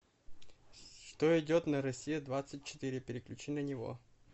что идет на россия двадцать четыре переключи на него